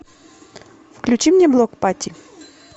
включи мне блок пати